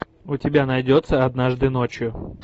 у тебя найдется однажды ночью